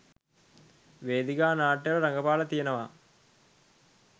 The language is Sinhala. වේදිකා නාට්‍යවල රඟපාලා තියෙනවා.